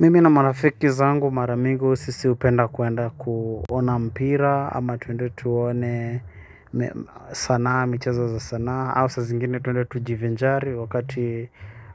Mimi na marafiki zangu mara mingi sisi hupenda kuenda kuona mpira ama tuende tuone sanaa michezo za sanaa au saa zingine tuende tujivinjari wakati